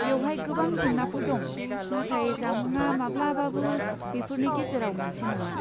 बेवहाय गोबां जेंनाफोर दं नाथाय जामुंआ माब्लाबाबो बेफोरनि गेजेराव मोनसे नङा।